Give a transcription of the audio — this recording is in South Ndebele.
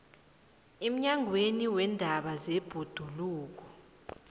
emnyangweni weendaba zebhoduluko